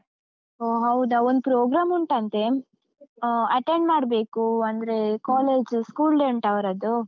ಓಹ್ ಹೌದಾ? ಒಂದ್ program ಉಂಟಂತೆ, ಆ attend ಮಾಡ್ಬೇಕೂ ಅಂದ್ರೇ, college school day ಉಂಟು ಅವ್ರದ್ದು.